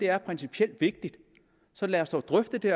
er principielt vigtigt så lad os dog drøfte det